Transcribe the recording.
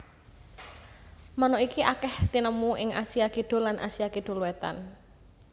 Manuk iki akèh tinemu ing Asia Kidul lan Asia Kidul wétan